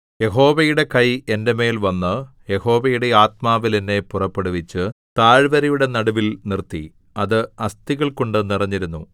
യഹോവയുടെ കൈ എന്റെ മേൽ വന്ന് യഹോവയുടെ ആത്മാവിൽ എന്നെ പുറപ്പെടുവിച്ച് താഴ്വരയുടെ നടുവിൽ നിർത്തി അത് അസ്ഥികൾകൊണ്ടു നിറഞ്ഞിരുന്നു